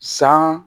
San